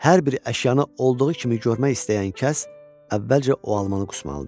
hər bir əşyanı olduğu kimi görmək istəyən kəs əvvəlcə o almanı qusmalıdır.